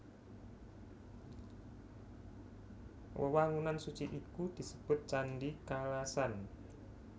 Wewangunan suci iku disebut Candhi Kalasan